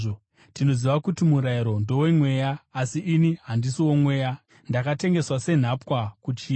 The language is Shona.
Tinoziva kuti murayiro ndowomweya; asi ini handisi woMweya, ndakatengeswa senhapwa kuchivi.